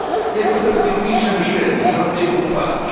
Jest to perspektywiczne myślenie i warto je pochwalić.